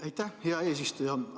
Aitäh, hea eesistuja!